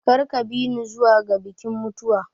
Kar ka bi ni zuwa ga bikin mutuwa.